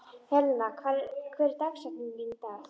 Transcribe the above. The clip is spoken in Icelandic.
Helen, hver er dagsetningin í dag?